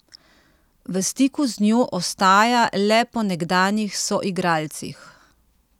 V stiku z njo ostaja le po nekdanjih soigralcih.